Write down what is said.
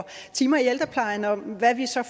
timer i ældreplejen og hvad vi så